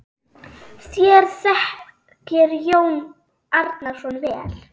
Þér þekkið Jón Arason vel.